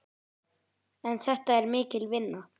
En þetta er mikil vinna.